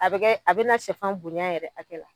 A bɛ kɛ, a bɛ na shɛfan bonya yɛrɛ hakɛ la.